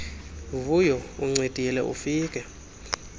vuyo uncedile ufike